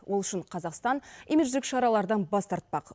ол үшін қазақстан имидждік шаралардан бас тартпақ